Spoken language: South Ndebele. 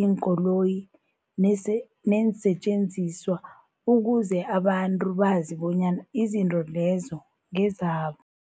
iinkoloyi neese neensentjenziswa ukuze abantu bazi bonyana izinto lezo ngezabo.